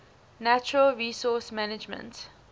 natural resource management